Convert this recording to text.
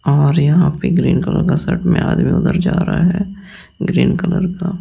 और यहां पे ग्रीन कलर का शर्ट में आदमी उधर जा रहा है ग्रीन कलर का --